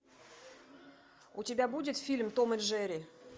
у тебя будет фильм том и джерри